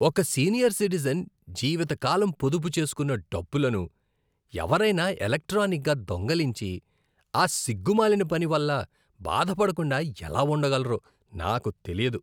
ఒక senior citizen జీవిత కాలం పొదుపు చేసుకున్న డబ్బులను ఎవరైనా ఎలక్ట్రానిక్గా దొంగిలించి, ఆ సిగ్గుమాలిన పని వల్ల బాధ పడకుండా ఎలా ఉండగలరో నాకు తెలీదు.